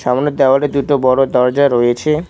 সামনে দেওয়ালটিতে বড় দরজা রয়েছে।